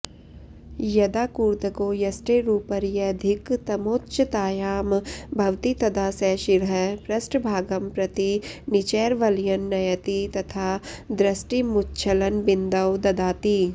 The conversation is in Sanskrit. यदा कूर्दको यष्टेरुपर्यधिकतमोच्चतायां भवति तदा स शिरः पृष्ठभागं प्रति निचैर्वलयन् नयति तथा दृष्टिमुच्छलनबिन्दौ ददाति